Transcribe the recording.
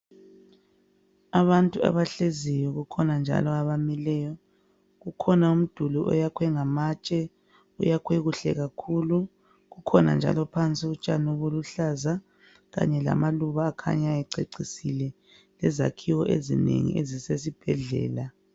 Abantu abahleziyo kukhona njalo abamileyo kukhona umduli oyakhwe ngamatshe uyakhwe kuhle kakhulu kukhona njalo phansi utshani obuluhlaza kanye lamaluba akhanya ececisile lezakhiwo ezinengi ezisesibhedlela.